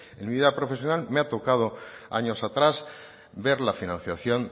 en mi vida profesional me ha tocado años atrás ver la financiación